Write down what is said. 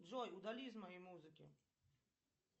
джой удали из моей музыки